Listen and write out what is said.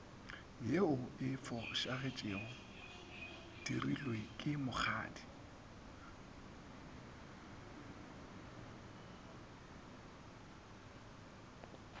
ye e fošagetšegodirilwe ke mokgadi